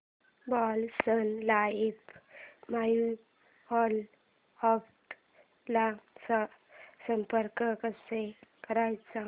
Birla Sun Life mutual fund ला संपर्क कसा करायचा